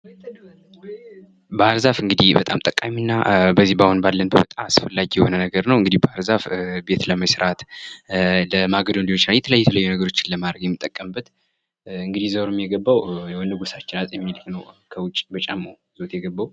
ባህር ዛፍ እንግዲህ በጣም ጠቃሚና በዚህ አሁን ባለንበት አስፈላጊ የሆነ ነገር ነው። እንግዲህ ባህር ዛፍ ቤት ለመስራት፣ ለማገዶም ሊሆን ይችላል። የተለያዩ የተለያዩ ነገሮችን ለማድረግ የሚጠቀምበት እንግዲህ ዘሩም የገባው በንጉሳችን አጼ ምኒልክ ነው ከጫሞ በጫማው ይዞት የገባው።